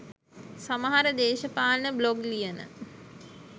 සමහර දේශපාලන බ්ලොග් ලියන